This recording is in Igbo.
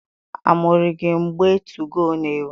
A muru gị mgbe 2go n'ewu?